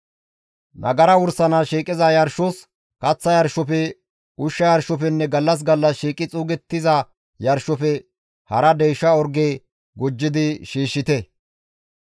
« ‹Nagara wursanaas shiiqiza yarshos, kaththa yarshofe, ushsha yarshofenne gallas gallas shiiqi xuugettiza yarshofe hara deysha orge gujjidi shiishshite.